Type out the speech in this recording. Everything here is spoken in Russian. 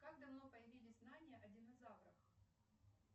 как давно появились знания о динозаврах